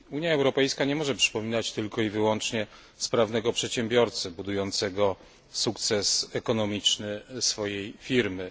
Unia Europejska nie może przypominać tylko i wyłącznie sprawnego przedsiębiorcy, budującego sukces ekonomiczny swojej firmy.